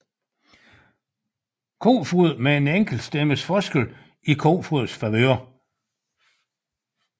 Kofoed med en enkelt stemmes forskel i Kofoeds favør